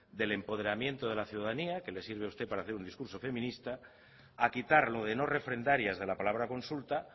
del empoderamiento de la ciudadanía que le sirve a usted para hacer un discurso feminista a quitar lo de no refrendarias de la palabra consulta